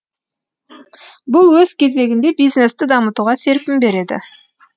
бұл өз кезегінде бизнесті дамытуға серпін береді